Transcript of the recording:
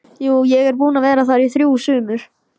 Jú, ég er búinn að vera þar í þrjú sumur